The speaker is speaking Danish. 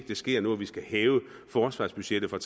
ske nu at vi skal hæve forsvarsbudgettet fra